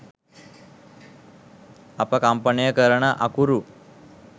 අප කම්පනය කරන අකුරු